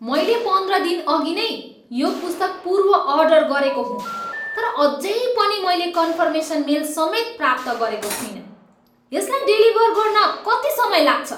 मैले पन्ध्र दिनअघि नै यो पुस्तक पूर्व अर्डर गरेको हुँ तर अझै पनि मैले कन्फर्मेसन मेल समेत प्राप्त गरेको छुइनँ। यसलाई डेलिभर गर्न कति समय लाग्छ?